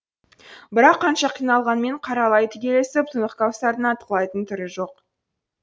бірақ қанша қиналғанмен қара лай түгесіліп тұнық кәусардың атқылайтын түрі жоқ